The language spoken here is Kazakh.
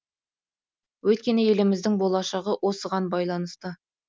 өйткені еліміздің болашағы осыған байланысты